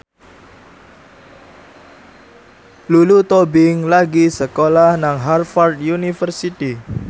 Lulu Tobing lagi sekolah nang Harvard university